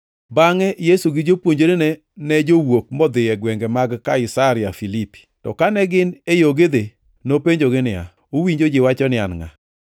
Bangʼe Yesu gi jopuonjrene ne jowuok modhi e gwenge mag Kaisaria Filipi. To kane gin e yo gidhi, nopenjogi niya, “Uwinjo ji wacho ni An ngʼa?”